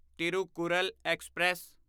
Thirukkural express